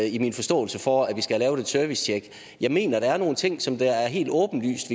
i min forståelse for at vi skal have lavet et servicetjek jeg mener der er nogle ting som det er helt åbenlyst